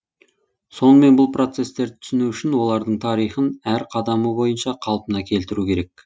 сонымен бұл процестерді түсіну үшін олардың тарихын әр қадамы бойынша қалпына келтіру керек